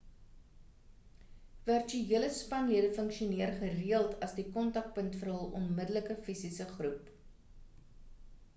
virtuele spanlede funksioneer gereeld as die kontakpunt vir hul onmiddelike fisiese groep